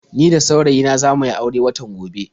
Ni da saurayi na za mu yi aure watan gobe.